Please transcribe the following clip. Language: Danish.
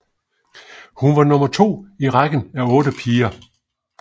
Hun var nummer to i rækken af otte piger